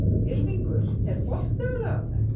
Ylfingur, er bolti á laugardaginn?